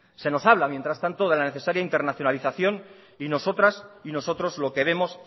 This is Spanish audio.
se nos habla mientras tanto de la necesaria internacionalización y nosotras y nosotros lo que vemos